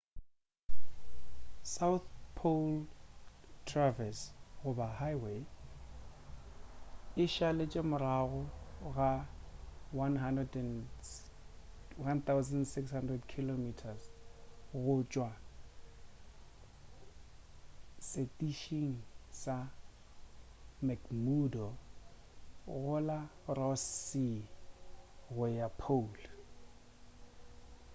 south pole traverse goba highway e šaletše morago ga 1600 km go tšwa setišing sa mcmurdo go la ross sea go ya pole